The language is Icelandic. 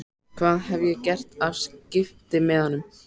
Hvað hef ég gert af skiptimiðanum?